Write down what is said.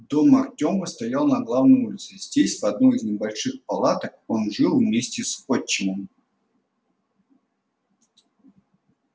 дом артёма стоял на главной улице здесь в одной из небольших палаток он жил вместе с отчимом